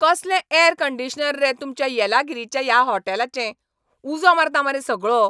कसलें यॅरकंडिशनर रे तुमच्या येलागिरीच्या ह्या हॉटेलाचे. उजो मारता मरे सगळो!